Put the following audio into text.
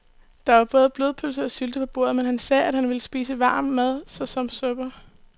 Der var både blodpølse og sylte på bordet, men han sagde, at han bare ville spise varm mad såsom suppe.